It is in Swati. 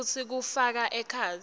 futsi kufaka ekhatsi